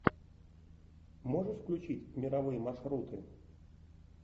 можешь включить мировые маршруты